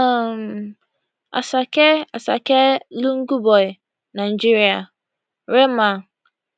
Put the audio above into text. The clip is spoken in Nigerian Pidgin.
um asake asake lungu boy nigeria rema